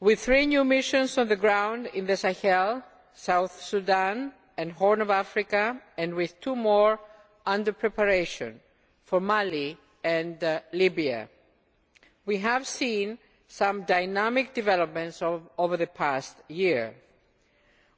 With three new missions on the ground in the Sahel, South Sudan and Horn of Africa and with two more under preparation, for Mali and Libya, we have seen some dynamic developments over the past year.